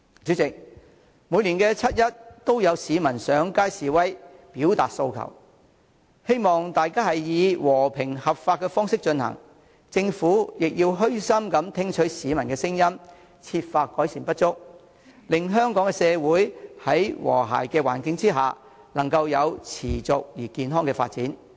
主席，每年七一都有市民上街示威、表達訴求，希望大家以和平合法的方式進行，政府亦要虛心聽取市民的聲音，設法改善不足，令香港社會能夠在和諧的環境之下，持續地健康發展。